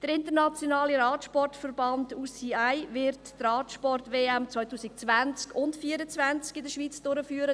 Der internationale Radsportverband (UCI) wird die Radsport-WM 2020 und 2024 in der Schweiz durchführen.